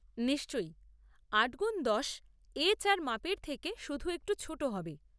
নিশ্চয়ই, আট গুণ দশ এ চার মাপের থেকে শুধু একটু ছোটো হবে।